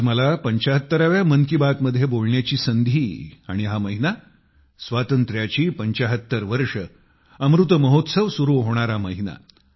आज मला 75 व्या मन की बात मध्ये बोलण्याची संधी आणि हा महिना स्वातंत्र्याची 75 वर्षे अमृत महोत्सव सुरू होणारा महिना